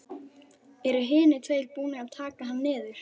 Eru hinir tveir búnir að taka hann niður.